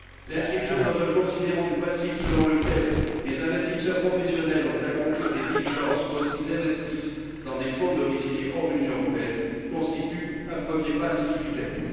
L'inscription dans un considérant du principe selon lequel les investisseurs professionnels ont à accomplir des diligences lorsqu'ils investissent dans des fonds domiciliés hors de l'Union européenne constitue un premier pas significatif.